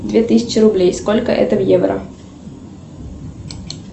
две тысячи рублей сколько это в евро